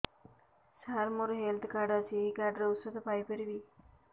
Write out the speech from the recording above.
ସାର ମୋର health card ଅଛି ଏହି କାର୍ଡ ରେ ଔଷଧ ପାଇପାରିବି